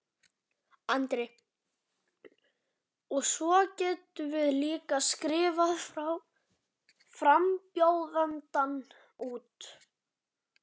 Andri: Og svo getum við líka strikað frambjóðandann út?